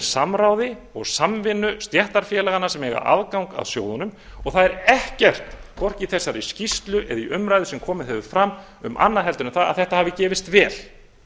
samráði og samvinnu stéttarfélaganna sem dag aðgang að sjóðunum og það er ekkert hvorki í þessari skýrslu eða í þeirri umræðu sem komið hefur fram um annað en það að þetta hafi gefist vel